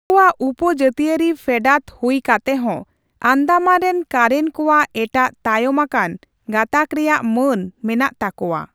ᱩᱱᱠᱩᱭᱟᱜ ᱩᱯᱚᱼᱡᱟᱹᱛᱤᱭᱟᱹᱨᱤ ᱯᱷᱮᱰᱟᱛ ᱦᱩᱭ ᱠᱟᱛᱮᱦᱚᱸ, ᱟᱱᱫᱟᱢᱟᱱ ᱨᱮᱱ ᱠᱟᱨᱮᱱ ᱠᱚᱣᱟᱜ ᱮᱴᱟᱜ ᱛᱟᱭᱚᱢ ᱟᱠᱟᱱ ᱜᱟᱸᱛᱟᱠ ᱨᱮᱭᱟᱜ ᱢᱟᱹᱱ ᱢᱮᱱᱟᱜ ᱛᱟᱠᱚᱣᱟ ᱾